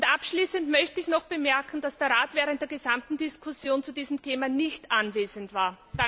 Abschließend möchte ich noch bemerken, dass der Rat während der gesamten Diskussion zu diesem Thema nicht anwesend war.